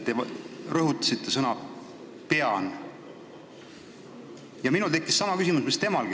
Te rõhutasite sõna "pean" ja minul tekkis sama küsimus mis temalgi.